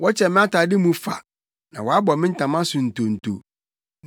Wɔkyɛ me atade mu fa, na wɔbɔ me ntama so ntonto.